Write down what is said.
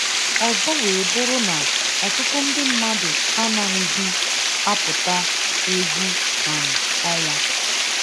Ọzọ wee bụrụ na ọtụtụ ndị mmadụ anaghịzị apụta egwu um ọnwa